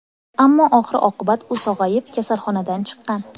Ammo oxir-oqibat u sog‘ayib, kasalxonadan chiqqan.